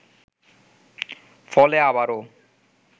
ফলে আবারও